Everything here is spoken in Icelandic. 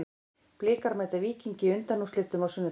Blikar mæta Víkingi í undanúrslitum á sunnudag.